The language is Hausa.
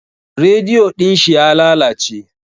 Rediyo din shi ya lalace.